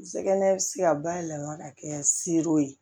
N sɛgɛn bɛ se ka bayɛlɛma ka kɛ seere ye